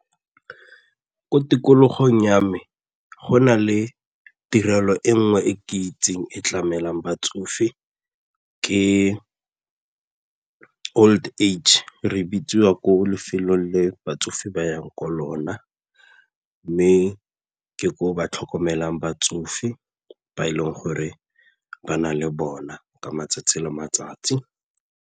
Mo tikologong ya me, go na le tirelo e nngwe e ke itseng e tlamelang batsofe ke old age re bitswa ya ko lefelong le batsofe ba yang ko lona mme ka gore ba tlhokomelang batsofe ba e leng gore ba nang le bona ka matsatsi le matsatsi.